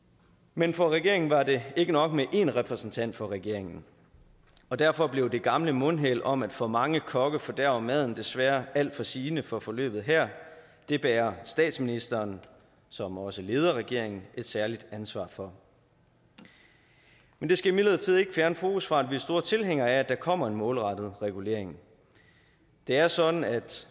men for regeringen var det ikke nok med én repræsentant for regeringen og derfor blev det gamle mundheld om at for mange kokke fordærver maden desværre alt for sigende for forløbet her det bærer statsministeren som også leder regeringen et særligt ansvar for men det skal imidlertid ikke fjerne fokus fra at vi er store tilhængere af at der kommer en målrettet regulering det er sådan at